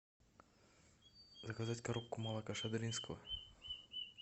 заказать коробку молока шадринского